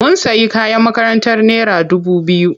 Mun sayi kayan makarantar naira dubu biyu.